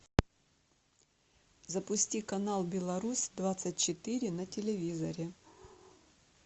запусти канал белорусь двадцать четыре на телевизоре